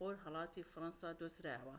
لەخۆرهەڵاتی فەرەنسا دۆزرایەوە